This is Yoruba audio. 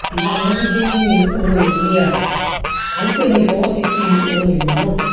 ìlànà gbígbée níni ohun èlò ni à ń pè ní ìfọwọsíti ohun èlò náà